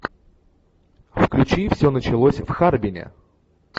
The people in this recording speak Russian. включи все началось в харбине